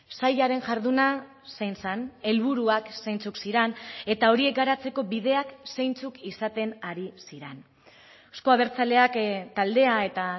sailaren jarduna zein zen helburuak zeintzuk ziren eta horiek garatzeko bideak zeintzuk izaten ari ziren euzko abertzaleak taldea eta